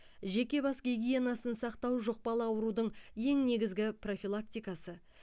жеке бас гигиенасын сақтау жұқпалы аурудың ең негізгі профилактикасы